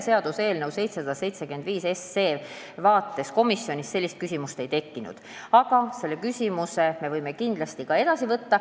Seaduseelnõuga 775 seoses komisjonis sellist küsimust ei tekkinud, aga me võime kindlasti seda edaspidi arutada.